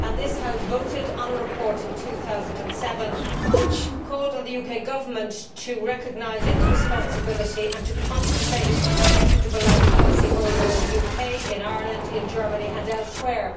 This House voted on a report in 2007 which called on the UK Government to recognise its responsibility and to compensate Equitable Life policy holders in the UK, Ireland, Germany and elsewhere.